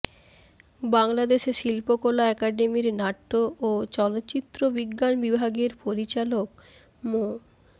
বাংলাদেশে শিল্পকলা একাডেমির নাট্য ও চলচ্চিত্র বিজ্ঞান বিভাগের পরিচালক মো